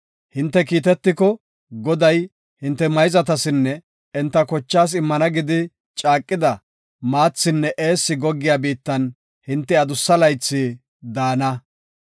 Hinte kiitetiko, Goday hinte mayzatasinne enta kochaas immana gidi caaqida, maathinne eessi goggiya biittan hinte adussa laythi daana.